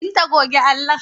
Binta goge allon!